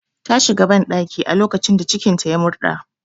Ta shiga banɗaki a lokacin da cikin ta ya murɗa